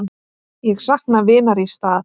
Ég sakna vinar í stað.